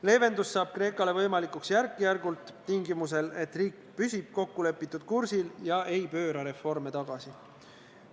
Leevendus saab Kreekale võimalikuks järk-järgult, tingimusel, et riik püsib kokkulepitud kursil ega pööra reforme tagasi.